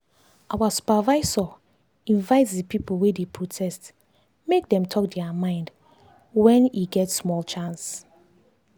our supervisor invite the people wey dey protest make dem talk their mind when e get small chance.